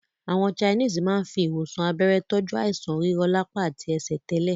Àwọn Chinese máa ń fi ìwòsàn abẹ́rẹ́ tọju àìsàn rírọlapa àti ẹsẹ̀ tẹ́lẹ̀